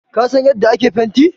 Ka san yanda ake fenti?